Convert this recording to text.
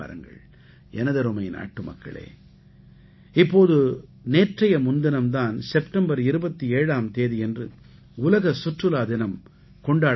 எனதருமை நாட்டுமக்களே இப்போது நேற்றைய முன்தினம் தான் செப்டம்பர் 27ஆம் தேதியன்று உலக சுற்றுலா தினம் கொண்டாடப்பட்டது